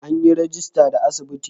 An yi rajista da asibiti?